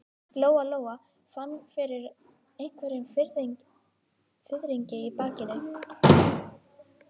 Lóa-Lóa fann fyrir einhverjum fiðringi í bakinu.